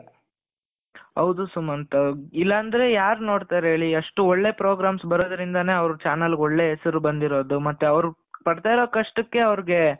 ಹೌದು ಸುಮಂತ್ ಇಲ್ಲ ಅಂದ್ರೆ ಯಾರ್ ನೋಡ್ತಾರೆ ಹೇಳಿ ಅಷ್ಟು ಒಳ್ಳೆ program ಬರೋದ್ರಿಂದಾನೆ ಅವ್ರ್ ಚಾನೆಲ್ ಗುಳ್ಳ ಹೆಸರು ಬಂದಿರೋದು ಮತ್ತೆ ಅವರು ಪಡ್ತಾ ಇರೋ ಕಷ್ಟಕ್ಕೆ ಅವರಿಗೆ